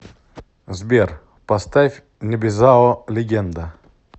сбер поставь небезао легенда